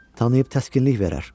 Tanıyıb təskinlik verər.